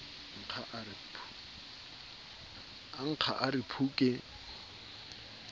nkga a re phu ke